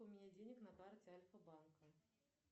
у меня денег на карте альфа банка